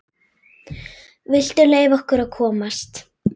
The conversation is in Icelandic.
VILTU LEYFA OKKUR AÐ KOMAST!